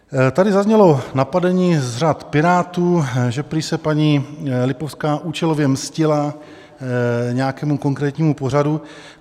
Tady zaznělo napadení z řad Pirátů, že prý se paní Lipovská účelově mstila nějakému konkrétnímu pořadu.